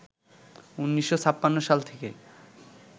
১৯৫৬ সাল থেকে